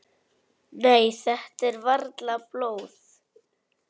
Nei, þetta er varla blóð.